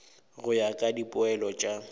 go ya ka dipoelo tša